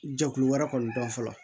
Jɛkulu wɛrɛ kɔni dɔn fɔlɔ